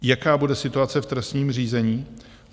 Jaká bude situace v trestním řízení?